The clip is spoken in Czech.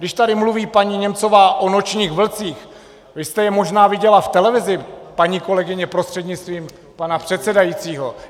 Když tady mluví paní Němcová o Nočních vlcích, vy jste je možná viděla v televizi, paní kolegyně, prostřednictvím pana předsedajícího.